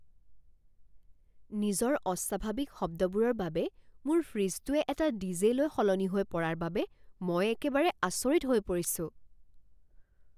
নিজৰ অস্বাভাৱিক শব্দবোৰৰ বাবে মোৰ ফ্ৰিজটোৱে এটা ডিজে লৈ সলনি হৈ পৰাৰ বাবে মই একেবাৰে আচৰিত হৈ পৰিছোঁ।